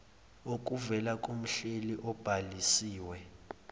okuvela kumhleli obhalisiwe